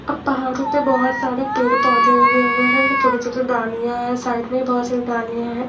अब पहाड़ों पे बहुत सारे पेड़ पौधे हुए हुए हैं छोटे-छोटा दानियां है साइड में बहुत सारी दानियां हैं।